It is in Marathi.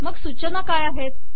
मग सूचना काय आहेत